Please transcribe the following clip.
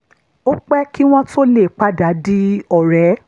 ó pẹ́ kí wọ́n tó lè padà di ọ̀rẹ́